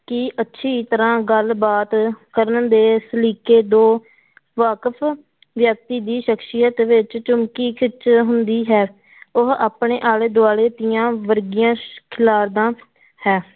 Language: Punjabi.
ਕਿ ਅੱਛੀ ਤਰ੍ਹਾਂ ਗੱਲਬਾਤ ਕਰਨ ਦੇ ਸਲੀਕੇ ਤੋਂ ਵਾਕਫ਼ ਵਿਅਕਤੀ ਦੀ ਸਖ਼ਸੀਅਤ ਵਿੱਚ ਚਮਕੀ ਖਿੱਚ ਹੁੰਦੀ ਹੈ ਉਹ ਆਪਣੇ ਆਲੇ ਦੁਆਲੇ ਦੀਆਂ ਵਰਗੀਆਂ ਖਿਲਾਰਦਾ ਹੈ।